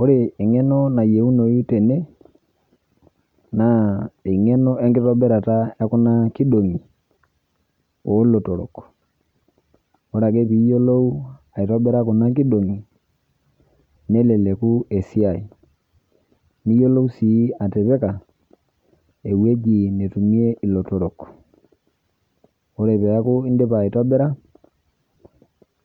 Ore eng'eno nayieunou tene naa eng'eno enkitobirata e kuna kidong'i oolotorok. Ore ake piiyolou aitobira kuna kidong'i neleleku esiai. Niyiolou sii atipika ewueji netumie ilotorrok. Ore peaku indipa aitobira,